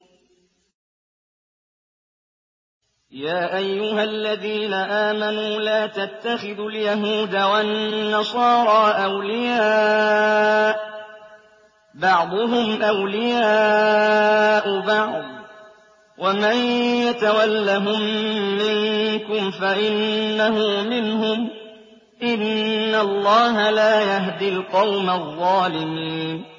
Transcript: ۞ يَا أَيُّهَا الَّذِينَ آمَنُوا لَا تَتَّخِذُوا الْيَهُودَ وَالنَّصَارَىٰ أَوْلِيَاءَ ۘ بَعْضُهُمْ أَوْلِيَاءُ بَعْضٍ ۚ وَمَن يَتَوَلَّهُم مِّنكُمْ فَإِنَّهُ مِنْهُمْ ۗ إِنَّ اللَّهَ لَا يَهْدِي الْقَوْمَ الظَّالِمِينَ